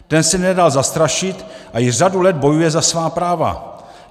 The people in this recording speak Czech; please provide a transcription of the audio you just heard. Ten se nedal zastrašit a již řadu let bojuje za svá práva.